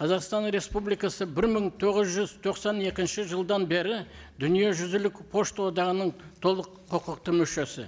қазақстан республикасы бір мың тоғыз жүз тоқсан екінші жылдан бері дүниежүзілік пошта одағының толық құқықты мүшесі